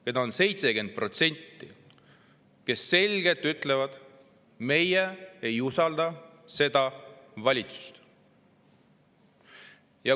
Neid on 70%, kes selgelt ütlevad: meie ei usalda seda valitsust.